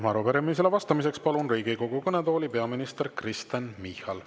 Ja arupärimisele vastamiseks palun Riigikogu kõnetooli peaminister Kristen Michali.